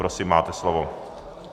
Prosím, máte slovo.